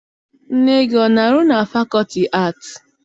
Nne gị ana-arụ na fakọlti aatị?